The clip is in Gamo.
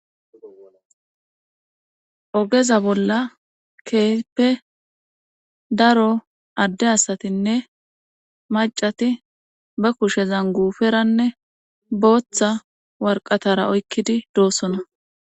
Ogeza bolla keehippe daro adde asatinne maccati be kushezan guuferanne bootha warqqatara oykkidi doosona.